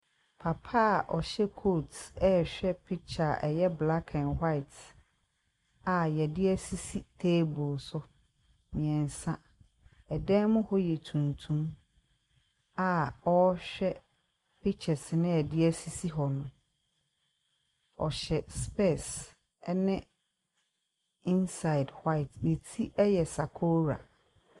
Papa a ɔhyɛ kot ɛhwɛ pikya a ɛyɛ blak ɛn waet a yɛde esisi teebol so mmiɛnsa. Ɛdan mu hɔ yɛ tuntum a ɔhwɛ pikyas na yɛde esisi hɔ no. Ɔhyɛ spɛs ɛne insaed waet. Ne ti ɛyɛ sakora.